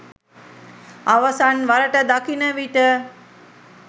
අවසන් වරට දකින විට